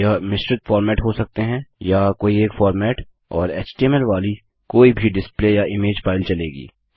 यह मिश्रित फॉर्मेट हो सकते हैं या कोई एक फॉर्मेट और एचटीएमएल वाली कोई भी डिस्प्ले या इमेज फाइल चलेगी